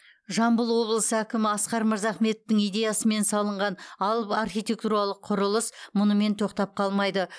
жамбыл облысы әкімі асқар мырзахметовтің идеясымен салынған алып архитектуралық құрылыс мұнымен тоқтап қалмайды